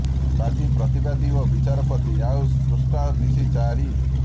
ବାଦୀ ପ୍ରତିବାଦୀ ଓ ବିଚାରପତି ଆଉ ସ୍ରଷ୍ଟା ମିଶି ଚାରି